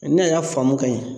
n'a y'a faamu ka ɲan.